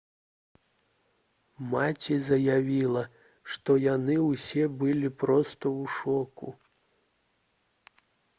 маці заявіла «што яны ўсе былі проста ў шоку»